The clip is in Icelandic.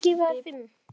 Hægra megin á hálsi.